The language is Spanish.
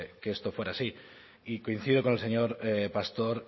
que esto fuera así y coincido con el señor pastor